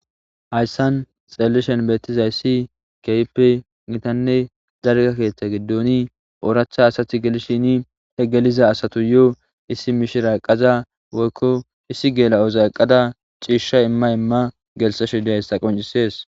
hayssan xelelishen beettiza issi keype nitanne zarga keeththa giddoni ooracha asati gelishini he geliza asatu yo7o issi mishira eqaza woykko issi geela7oza eqqada ciishsha imma imma gelisa shidiassa qoncisees